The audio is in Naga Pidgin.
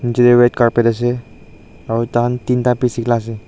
jatte red colour ase aru tar tinta pice sila ase.